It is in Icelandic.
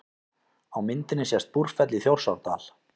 Á myndinni sést Búrfell í Þjórsárdal.